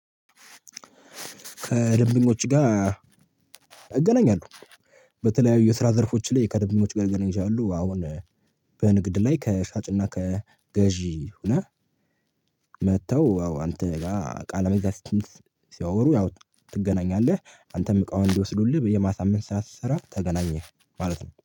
ከደንበኞቼ ጋር እገናኛለሁ። በተለያዩ የስራ ዘርፎች ላይ ከደንበኞቸ ጋር ልገናን እችላለሁ። አሁን በንግድ ላይ ከሻጭና ከገዢ ሁነህ መጥተው አዎ አንተ ጋር እቃ ለመግዛት ሲያወሩ ያው ትገናኛለህ አንተም እቃውን እንዲወስዱልህ የማሳመን ስራ ስሰራ ተገናኘህ ማለት ነው።